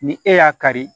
Ni e y'a kari